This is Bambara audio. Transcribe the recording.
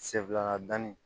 Sen fila danni